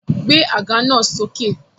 Gbé àga náà sókè!